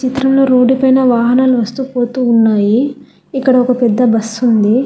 చిత్రంలో రోడ్డుపైన వాహనాలు వస్తూ పోతూ ఉన్నాయి ఇక్కడ ఒక పెద్ద బస్సు ఉంది.